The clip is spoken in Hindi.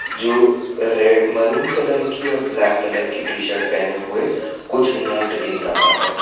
जो रे मैरून कलर की और ब्लैक कलर की टी शर्ट पहने हुए कुछ नोट गिन रहा है।